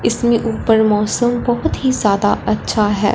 इसमें ऊपर मौसम बहुत ही ज्यादा अच्छा है।